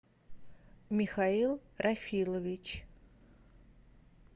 михаил рафилович